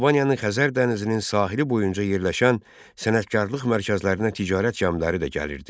Albaniyanın Xəzər dənizinin sahili boyunca yerləşən sənətkarlıq mərkəzlərinə ticarət gəmiləri də gəlirdi.